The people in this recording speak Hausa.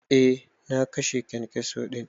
Eh na kashe kyankyaso din.